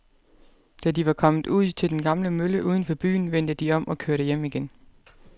Da de var kommet ud til den gamle mølle uden for byen, vendte de om og kørte hjem igen.